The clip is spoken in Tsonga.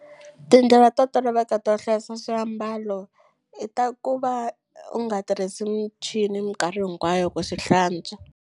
Tindlela to toloveka to hlayisa swiambalo i ta ku va u nga tirhisi michini minkarhi hinkwayo ku swi hlantswa.